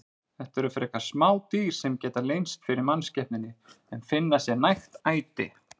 Þetta eru frekar smá dýr sem geta leynst fyrir mannskepnunni en finna sér nægt æti.